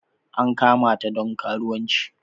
An kamata don karuwanci.